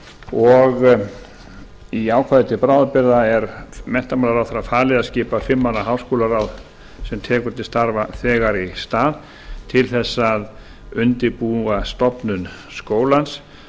og í ákvæði til bráðabirgða er menntamálaráðherra falið að skipa fimm manna háskólaráð sem tekur til starfa þegar í stað til þess að undirbúa stofnun skólans